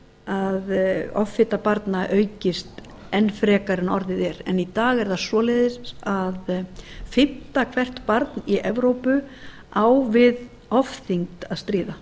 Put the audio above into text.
að offita barna aukist enn frekar en orðið er en í dag er það svoleiðis að fimmta hvert barn í evrópu á við ofþyngd að stríða